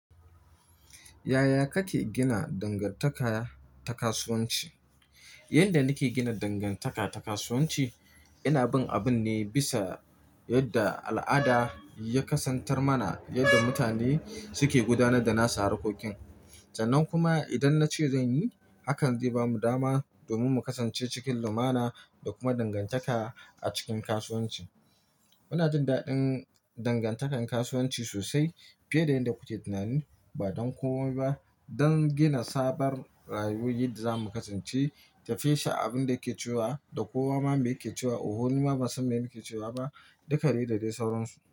Yaya kake gina dangantaka ta kasuwanci? Yanda nake gina dangantaka ta kasuwanci, ina bin abun ne bisa yadda al'ada ya kasantar mana yadda mutane suke gudanar da nasu harkokin. Sannan kuma idan nace zanyi, hakan zai bamu dama domin mu kasance cikin lumana da kuma dangantaka a cikin kasuwanci. Muna jin daɗin dangantakar kasuwanci sosai fiye da yadda kuke tunani. Ba don komai ba. Don gina sabar rayuwar da zamu kasance, tafi sha abun da yake cewa da kowa ma mai yake cewa. Uhu, ni ma ban san me nake cewa ba. Duka de dadai sauransu.